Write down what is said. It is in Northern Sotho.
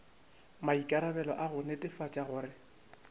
maikarabelo a go netefatša gore